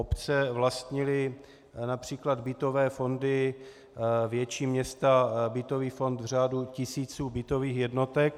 Obce vlastnily například bytové fondy, větší města bytový fond v řádu tisíců bytových jednotek.